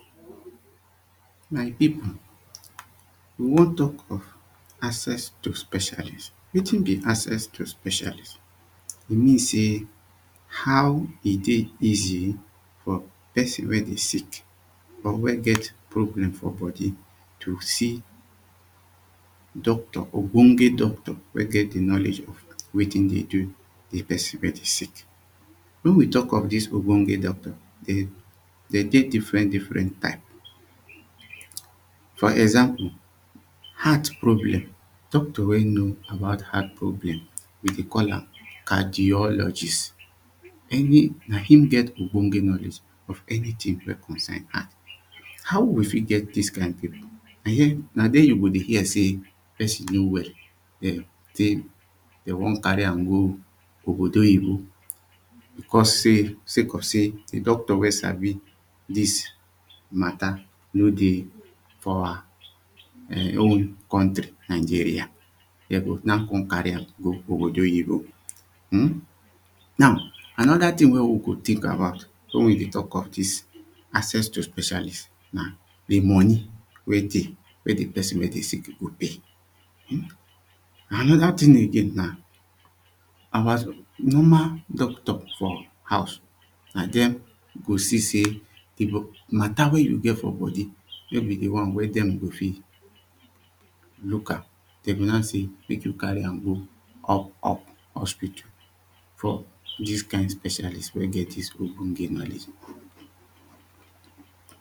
My people we wan talk of access to specialist. Wetin be access to specialist? E mean sey how e dey easy for person wen dey sick or wen get problem for body to see doctor, ogbonge doctor wen get di knowledge of wetin dey do di person wey dey sick. Wen we talk of dis ogbonge doctor, dem dem dey different different type, for example, heart problem. Doctor wen know about heart problem we dey call am cardiologist. Meaning na im get ogbonge knowledge of anything wen concern heart. How we go fit get dis kind people na there you go dey hear sey person no well um sey dem wan carry am go obodo oyibo. Because sey, sake of sey, di doctor wen sabi dis matter no dey for our um country Nigeria. Dem go now come carry am go obodo oyibo, now another thing wen we go think about wen we dey talk of dis access to specialist, na di money wen dey wen di person wen dey sick go pay, another thing again na our normal doctor for house na dem go see sey, di matter wen you get for body nor be di one wen dem go fit local, dem go now say make you carry am go up up hospital. For dis kind specialist wen get dis ogbonge knowledge.